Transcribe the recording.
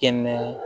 Kɛnɛ